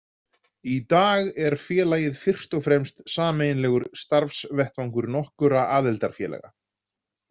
Í dag er félagið fyrst og fremst sameiginlegur starfsvettvangur nokkurra aðildarfélaga.